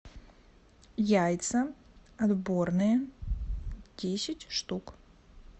яйца отборные десять штук